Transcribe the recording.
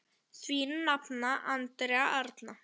Þín nafna, Andrea Arna.